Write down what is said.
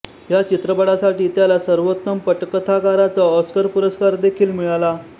ह्या चित्रपटासाठी त्याला सर्वोत्तम पटकथाकाराचा ऑस्कर पुरस्कार देखील मिळाला